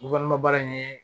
baara in ye